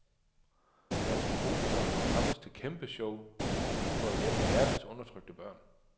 Danske komikere samles til kæmpe show i julen for at hjælpe verdens undertrykte børn.